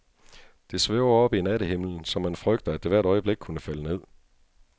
Det svæver oppe i nattehimlen, så man frygter, at det hvert øjeblik kunne falde ned.